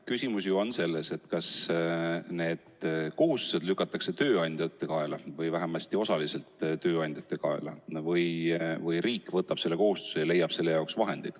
Küsimus on selles, kas see kohustus lükatakse vähemasti osaliselt tööandjate kaela või võtab riik selle kohustuse endale ja leiab ise selle jaoks vahendid.